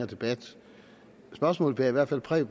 debat spørgsmålet bærer i hvert fald præg